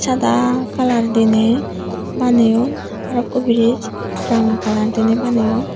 sada kalar diney baneyon arokko biriz ranga kalar diney baneyon.